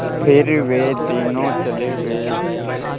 फिर वे तीनों चले गए